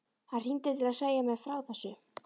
Hann hringdi til að segja mér frá þessu.